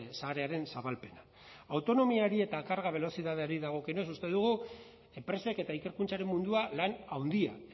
sarearen zabalpena autonomiari eta belozidadeari dagokionez uste dugu enpresak eta ikerkuntzaren mundua lan handia